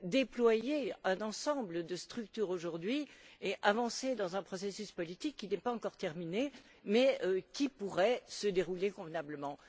déployer un ensemble de structures et avancer dans un processus politique qui n'est pas encore terminé, mais qui pourrait se dérouler convenablement.